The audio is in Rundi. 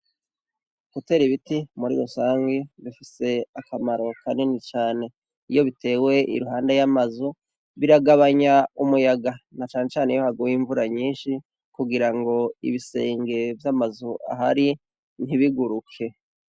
Gutera ibiti muri rusangi bifise akamaro kanini cane. Iyo bitewe iruhande y'amazu, biragabanya umuyaga na cane cane iyo haguye imvura nyinshi kugirango ibisenge vy'amazu ahari ntibiguruke.